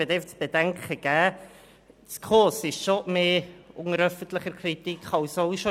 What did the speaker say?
Ich möchte zu bedenken geben, dass die SKOS doch stärker unter öffentlicher Kritik steht als bisher.